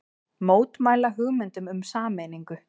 Mótmæla hugmyndum um sameiningu